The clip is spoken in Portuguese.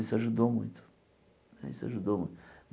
Isso ajudou muito.